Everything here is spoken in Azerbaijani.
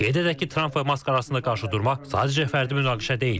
Qeyd edək ki, Trampla Mask arasında qarşıdurma sadəcə fərdi münaqişə deyil.